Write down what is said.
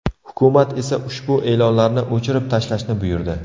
Hukumat esa ushbu e’lonlarni o‘chirib tashlashni buyurdi.